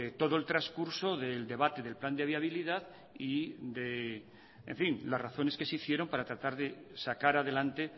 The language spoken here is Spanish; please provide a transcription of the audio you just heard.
todo el transcurso del debate del plan de viabilidad y de en fin las razones que se hicieron para tratar de sacar adelante